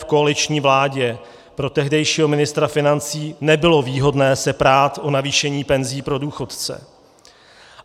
V koaliční vládě pro tehdejšího ministra financí nebylo výhodné se prát o navýšení penzí pro důchodce.